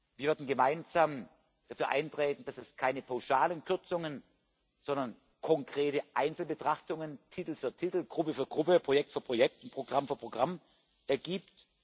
Wir werden gemeinsam dafür eintreten, dass es keine pauschalen Kürzungen, sondern konkrete Einzelbetrachtungen Titel für Titel, Gruppe für Gruppe, Projekt für Projekt und Programm für Programm gibt.